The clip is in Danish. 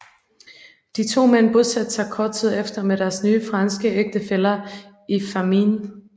De to mænd bosatte sig kort tid efter med deres nye franske ægtefæller i Fámjin